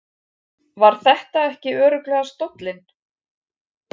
Var þetta ekki örugglega stóllinn?